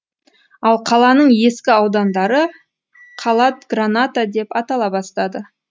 ал қаланың ескі аудандары калат граната деп атала бастады